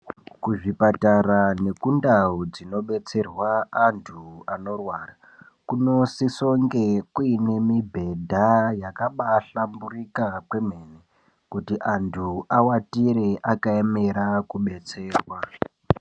Kuzvipatara nekundau dzinobetserwa antu anorwara kunosisonge kune nemibhedha yakambaahlamburika kwemene, kuti antu avatire akaemera kudetserwa.